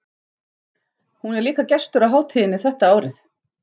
Hún er líka gestur á hátíðinni þetta árið.